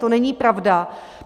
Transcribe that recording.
To není pravda.